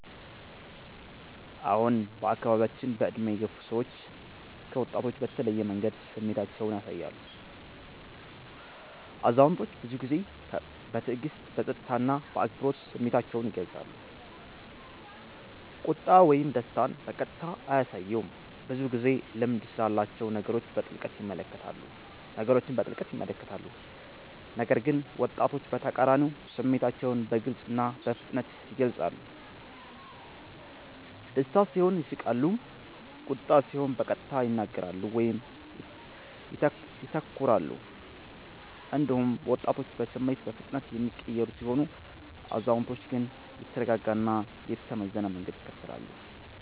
አዎን፣ በአካባቢያችን በዕድሜ የገፉ ሰዎች ከወጣቶች በተለየ መንገድ ስሜታቸውን ያሳያሉ። አዛውንቶች ብዙ ጊዜ በትዕግስት፣ በጸጥታ እና በአክብሮት ስሜታቸውን ይገልጻሉ፤ ቁጣ ወይም ደስታን በቀጥታ አያሳዩም፣ ብዙ ጊዜ ልምድ ስላላቸው ነገሮችን በጥልቅ ይመለከታሉ። ነገር ግን ወጣቶች በተቃራኒው ስሜታቸውን በግልጽ እና በፍጥነት ይገልጻሉ፤ ደስታ ሲሆን ይስቃሉ፣ ቁጣ ሲሆን በቀጥታ ይናገራሉ ወይም ይተኩራሉ። እንዲሁም ወጣቶች በስሜት በፍጥነት የሚቀየሩ ሲሆኑ፣ አዛውንቶች ግን የተረጋጋ እና የተመዘነ መንገድ ይከተላሉ።